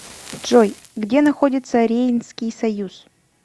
джой где находится рейнский союз